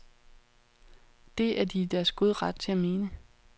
Det er de i deres gode ret til at mene.